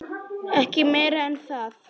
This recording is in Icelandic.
Ekki meira en það.